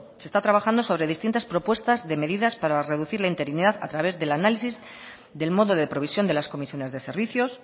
se está trabajando sobre distintas propuestas de medidas para reducir la interinidad a través del análisis del modo de provisión de las comisiones de servicios